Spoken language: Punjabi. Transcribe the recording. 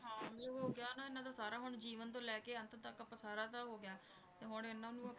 ਹਾਂ ਇਹ ਹੋ ਗਿਆ ਇਹਨਾਂ ਦਾ ਸਾਰਾ ਹੁਣ ਜੀਵਨ ਤੋਂ ਲੈ ਕੇ ਅੰਤ ਤੱਕ ਆਪਾਂ ਸਾਰਾ ਤਾਂ ਹੋ ਗਿਆ ਤੇ ਹੁਣ ਇਹਨਾਂ ਨੂੰ,